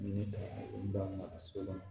Ni ne ka maka s'o ma